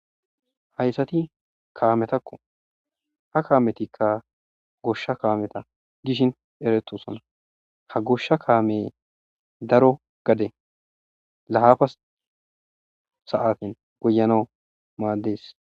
Haysati kameta, ha kametikka goosha kameta gidishini ha gosha kameti darro gade lafa sate goyanawu madesi.